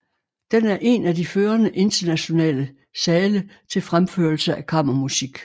Den er en af de førende internationale sale til fremførelse af kammermusik